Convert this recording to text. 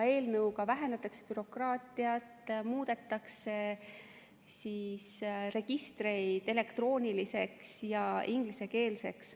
Eelnõuga vähendatakse bürokraatiat ning muudetakse registreid elektrooniliseks ja ingliskeelseks.